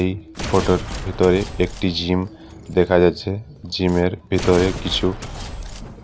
এই ফটোর ভিতরে একটি জিম দেখা যাচ্ছে জিমের ভিতরে কিছু